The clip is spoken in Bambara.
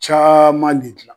Caaman de dilan